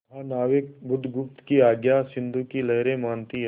महानाविक बुधगुप्त की आज्ञा सिंधु की लहरें मानती हैं